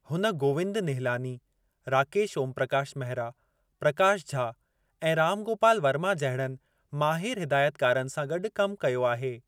हुन गोविंद निहलानी, राकेश ओमप्रकाश मेहरा, प्रकाश झा ऐं राम गोपाल वर्मा जहिड़नि माहिरु हिदायतकारनि सां गॾु कमु कयो आहे।